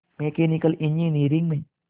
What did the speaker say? mechanical engineering में